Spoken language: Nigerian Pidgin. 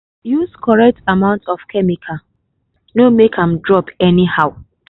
use correct amount of chemical—no make am drop anyhow.